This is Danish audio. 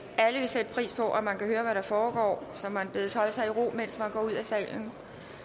alle vil sætte pris på at man kan høre hvad der foregår så man bedes holde sig i ro mens man går ud af salen